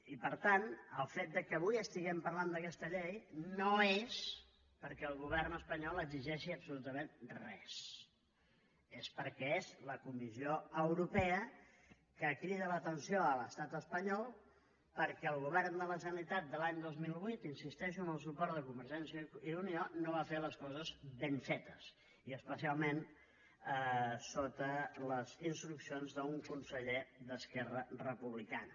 i per tant el fet que avui estiguem parlant d’aquesta llei no és perquè el govern espanyol exigeixi absolutament res és perquè és la comissió europea la que crida l’atenció a l’estat espanyol perquè el govern de la generalitat de l’any dos mil vuit hi insisteixo amb el suport de convergència i unió no va fer les coses ben fetes i especialment sota les instruccions d’un conseller d’esquerra republicana